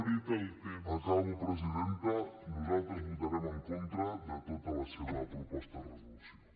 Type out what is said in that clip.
acabo presidenta nosaltres votarem en contra de tota la seva proposta de resolució